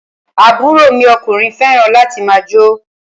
Àbúrò mi ọkùnrin fẹràn láti máà jó.